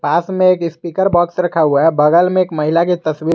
पास में एक speaker box रखा हुआ है बगल में एक महिला की तस्वीर--